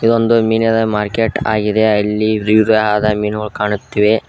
ಇದೊಂದು ಮೀನಿನ ಮಾರ್ಕೆಟ್ ಆಗಿದೆ ಅಲ್ಲಿ ವಿವಿಧವಾದ ಮೀನುಗಳು ಕಾಣುತ್ತಿವೆ.